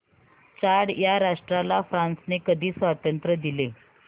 Chad या राष्ट्राला फ्रांसने कधी स्वातंत्र्य दिले